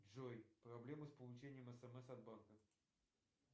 джой проблемы с получением смс от банка